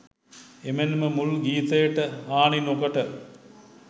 එමෙන්ම මුල් ගීතයට හානි නොකොට